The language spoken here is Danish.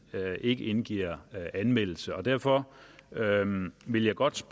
ikke indgiver anmeldelse og derfor vil jeg godt